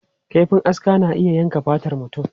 Kaifin aska na iya yankan fatar mutum.